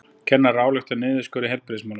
Kennarar álykta um niðurskurð í heilbrigðismálum